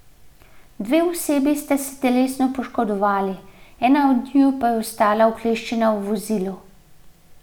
Dve osebi sta se telesno poškodovali, ena od njiju pa je ostala ukleščena v vozilu.